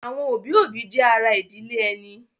Àwọn òbí-òbí jẹ́ ará ìdílé ẹni.